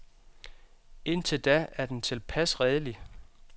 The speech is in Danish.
Indtil da er den tilpas redelig.